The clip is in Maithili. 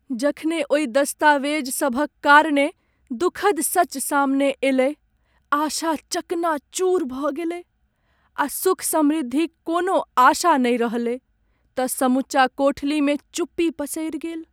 जखने ओहि दस्तावेजसभक कारणे दुखद सच सामने अयलै, आशा चकनाचूर भऽ गेलै आ सुख समृद्धिक कोनो आशा नहि रहलै तँ समूचा कोठलीमे चुप्पी पसरि गेल।